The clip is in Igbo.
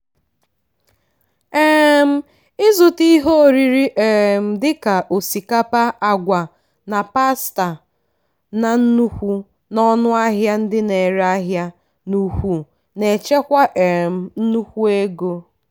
um ịzụta ihe oriri um dị ka osikapa agwa na pasta na nnukwu n'ọnụ ahịa ndị na-ere ahịa n'ukwu na-echekwa um nnukwu ego.